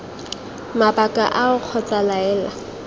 mabaka ao kgotsa iii laela